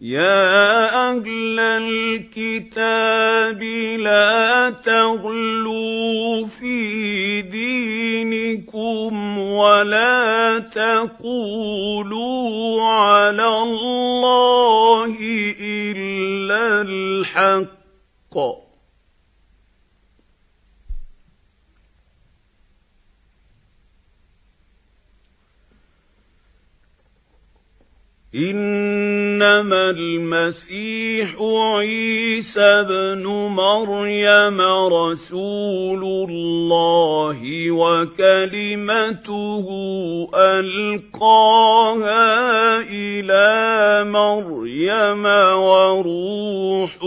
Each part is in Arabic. يَا أَهْلَ الْكِتَابِ لَا تَغْلُوا فِي دِينِكُمْ وَلَا تَقُولُوا عَلَى اللَّهِ إِلَّا الْحَقَّ ۚ إِنَّمَا الْمَسِيحُ عِيسَى ابْنُ مَرْيَمَ رَسُولُ اللَّهِ وَكَلِمَتُهُ أَلْقَاهَا إِلَىٰ مَرْيَمَ وَرُوحٌ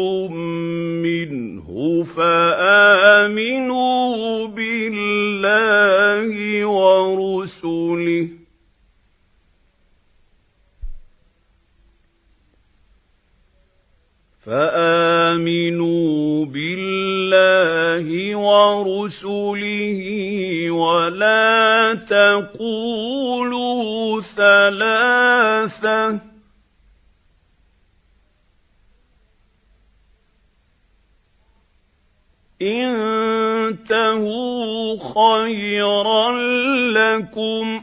مِّنْهُ ۖ فَآمِنُوا بِاللَّهِ وَرُسُلِهِ ۖ وَلَا تَقُولُوا ثَلَاثَةٌ ۚ انتَهُوا خَيْرًا لَّكُمْ ۚ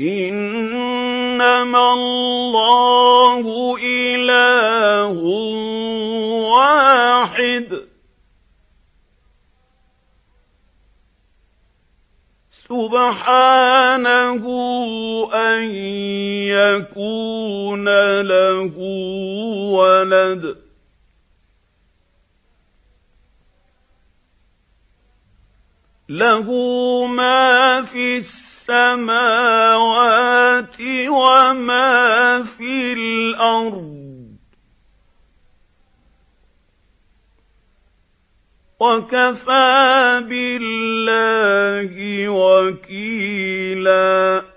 إِنَّمَا اللَّهُ إِلَٰهٌ وَاحِدٌ ۖ سُبْحَانَهُ أَن يَكُونَ لَهُ وَلَدٌ ۘ لَّهُ مَا فِي السَّمَاوَاتِ وَمَا فِي الْأَرْضِ ۗ وَكَفَىٰ بِاللَّهِ وَكِيلًا